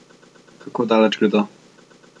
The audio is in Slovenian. Kako daleč gredo?